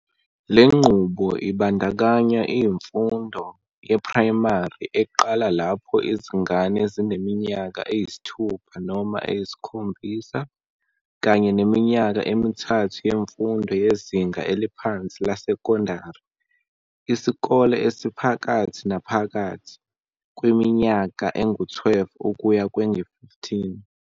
Le nqubo ibandakanya iimfundo yeprayimari, eqala lapho izingane zineminyaka eyisithupha noma eyisikhombisa, kanye neminyaka emithathu yemfundo yezinga eliphansi lesekondari, isikole esiphakathi naphakathi, kwiminyaka engu-12 ukuya kwengu-15.